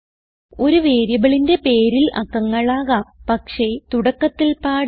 ഒരു വേരിയബിളിന്റെ പേരിൽ അക്കങ്ങൾ ആകാം പക്ഷേ തുടക്കത്തിൽ പാടില്ല